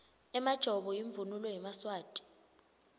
emajobo imvunulo yemaswati